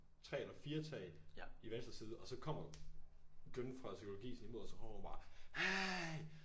3 eller 4 tag i venstre side og så kommer Glynne fra psykologi sådan lige i mod mig og så råber hun bare hey!